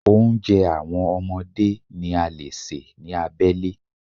Oúnjẹ àwọn ọmọdé ni a lè ṣe ní abẹ́lé.